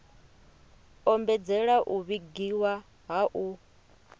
ombedzela u vhigiwa ha u